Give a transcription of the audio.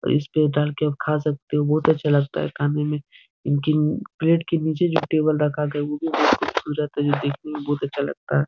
इस पे डालके आप खा सकते हो बहुत अच्छा लगता है खाने में इनकी प्लेट के नीचे जो टेबल रखा गया है वो भी बहुत खूबसूरत है देखने में बहुत अच्छा लगता है ।